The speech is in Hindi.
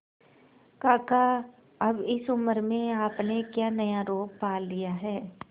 काका अब इस उम्र में आपने क्या नया रोग पाल लिया है